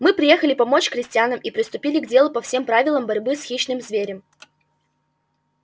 мы приехали помочь крестьянам и приступили к делу по всем правилам борьбы с хищным зверем